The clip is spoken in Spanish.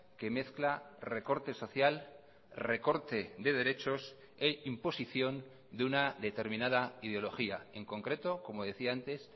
que mezcla recorte social recorte de derechos e imposición de una determinada ideología en concreto como decía antes